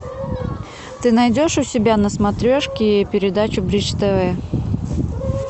ты найдешь у себя на смотрешке передачу бридж тв